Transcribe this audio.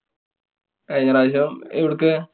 കഴിഞ്ഞ പ്രാവശ്യം എവുട്ക്ക്?